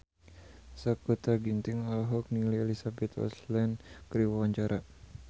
Sakutra Ginting olohok ningali Elizabeth Olsen keur diwawancara